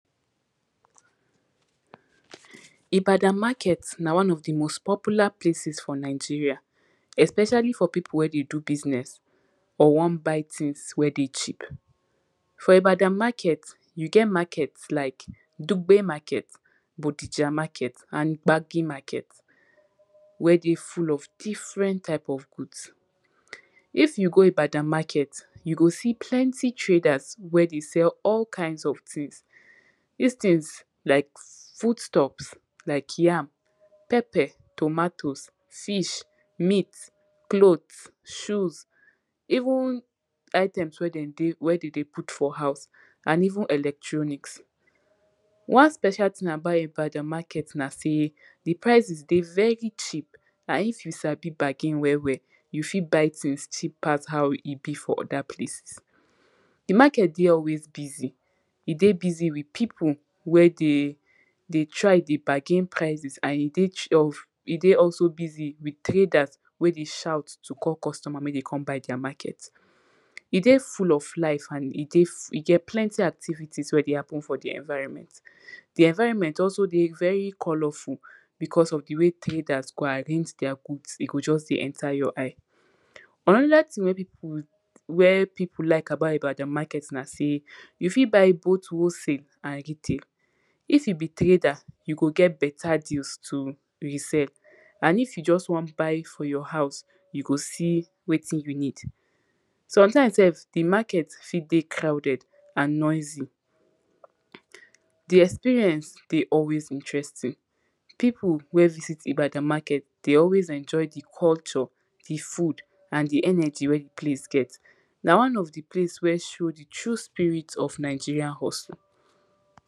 ibadan market, na one of di most popular places for nigeria especially for pipu were de du business or wan buy things wer de cheap. for ibadan market, you get market like, dugbe market, bodija market and gbagi market, wer de full of different type of goods. if you go Ibadan market, you go see plenty traders wer dey sell all kinds of things, this things like food stuffs, like yam, pepper, tomatoes, fish, meat, clothes, shoes, even item wey dem dey wer dem de put for house and even electronics. one special thing about ibadan market na sey di prices de very cheap and if you sabi bargain well well you fit buy things cheap pass how e be for other places. di market de always busy. e de busy with pipu wer dey de try de bagain prices and e de ch of e dey also busy with traders wer de shout to call customers make dem come buy dia market. e dey full of life and e dey, e get plenty activities wer de happen for di environment. di environment also de very coloruful because of de way traders go arrange dia goods e go just de enter your eyes. anoda thing wer pipu wer pipu like about Ibadan market na sey, you fit buy both wholesale and retail. if you be trader, you go get better deals to reserve and if you just wan buy for your house, you go see wettin you need. sometimes sef di market fit de crowded and noisy. di experience de always interesting. pipu wer visit Ibadan market de always enjoy di culture, di food and di energy wer di place get. na one of di place wer show di true spirit o Nigerian hustle.